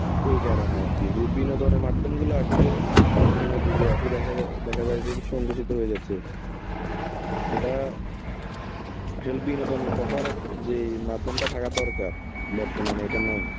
এই কারণে আরকি যে বিনোদনে মাধ্যমগুলো আসলে অ্যাঁ বর্তমান যুগে আসে দেখা যায়~ দেখা যায় যে কি সংঘষিদ্ধ হয়ে যাচ্ছে. এটা হেল~ বিনোদনের proper এত যেই মাধ্যমটা থাকা দরকার বর্তমানে এটা নাই.